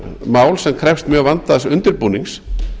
mál sem krefst mjög vandaðs undirbúnings